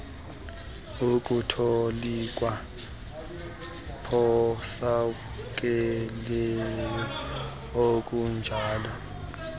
ukutolikwa phosakeleyo okunjalo